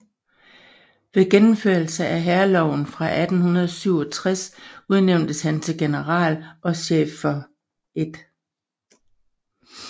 Ved gennemførelsen af Hærloven af 1867 udnævntes han til general og chef for 1